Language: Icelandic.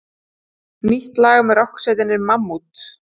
Nýtt lag með rokksveitinni Mammút